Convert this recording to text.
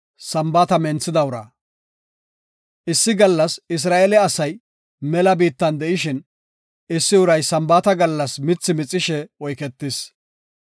Issi gallas Isra7eele asay mela biittan de7ishin, issi uray Sambaata gallas mithi mixishe oyketis.